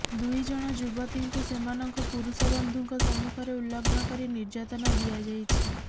ଦୁଇ ଜଣ ଯୁବତୀଙ୍କୁ ସେମାନଙ୍କ ପୁରୁଷ ବନ୍ଧୁଙ୍କ ସମ୍ମୁଖରେ ଉଲଗ୍ନ କରି ନିର୍ଯାତନା ଦିଆଯାଇଛି